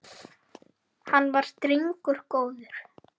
Hann var drengur góður.